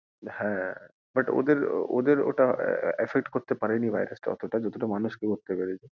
হ্যাঁ, but ওদের ওটা, ওদের ওটা affect করতে পারেনি virus তা অতোটা যতটা মানুষ কে করতে পেরেছে।